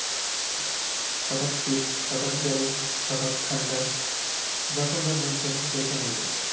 হটাৎ শীত, হটাৎ গরম, হটাৎ ঠাণ্ডা যখন যা মন চাচ্ছে সে রকম ওয়েদার ।